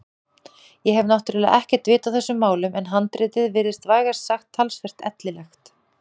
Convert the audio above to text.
Ég hef náttúrlega ekkert vit á þessum málum en handritið virtist vægast sagt talsvert ellilegt.